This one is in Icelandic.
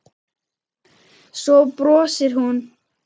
Svo brosir hún.